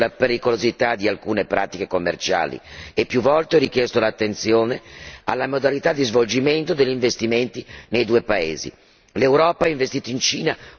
Più volte ho richiamato l'attenzione sulla pericolosità di alcune pratiche commerciali e più volte ho rivolto l'attenzione alla modalità di svolgimento degli investimenti nei due paesi.